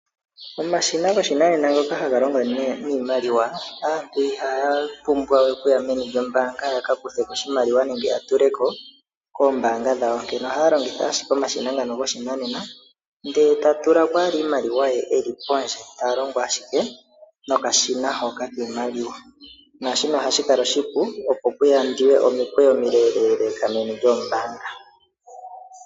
Omashina goshinanena ngoka haga longo niimaliwa aantu ihaa pumbwa we okuya meni lyombaanga ya ka kuthe ko oshimaliwa nenge ya tule ko koombanga dhawo onkene ohaya longitha ashika omashina ngano goshinanena ndele taya tula ko owala iimaliwa ye eli pondje ta longo ashike noka shina kiimaliwa naashika ohashi kala oshipu opo ku yandwe